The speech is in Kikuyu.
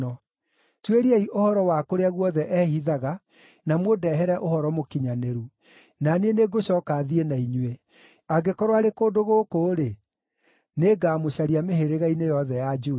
Tuĩriai ũhoro wa kũrĩa guothe ehithaga na mũndehere ũhoro mũkinyanĩru. Na niĩ nĩngũcooka thiĩ na inyuĩ; angĩkorwo arĩ kũndũ gũkũ-rĩ, nĩngamũcaria mĩhĩrĩga-inĩ yothe ya Juda.”